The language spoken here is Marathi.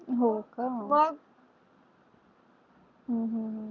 हो. का हम्म हम्म हम्म हम्म.